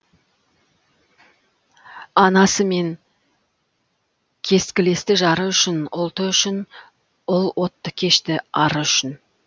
анасы мен кескілесті жары үшін ұлты үшін ұл отты кешті ары үшін